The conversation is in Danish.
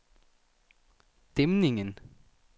Dæmningen